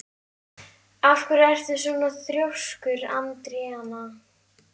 Af hverju ertu svona þrjóskur, Andríana?